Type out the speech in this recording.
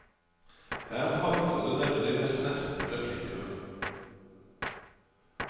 Her hagler det nemlig med snertne replikker.